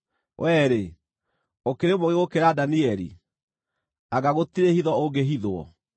Wee-rĩ, ũkĩrĩ mũũgĩ gũkĩra Danieli? Anga gũtirĩ hitho ũngĩhithwo?